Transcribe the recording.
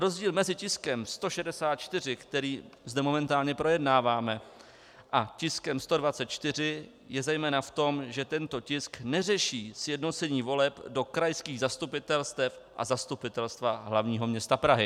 Rozdíl mezi tiskem 164, který zde momentálně projednáváme, a tiskem 124 je zejména v tom, že tento tisk neřeší sjednocení voleb do krajských zastupitelstev a Zastupitelstva hlavního města Prahy.